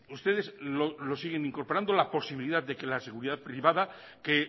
ustedes lo siguen incorporando la posibilidad de que la seguridad privada que